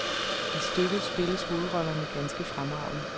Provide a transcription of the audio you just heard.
I stykket spilles hovedrollerne ganske fremragende.